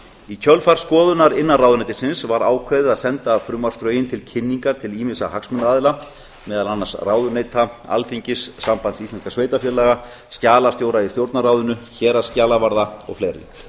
í kjölfar skoðunar innan ráðuneytisins var ákveðið að senda frumvarpsdrögin til kynningar til ýmissa hagsmunaaðila meðal annars ráðuneyta alþingis sambands íslenskra sveitarfélaga skjalastjóra í stjórnarráðinu héraðsskjalavarða og fleiri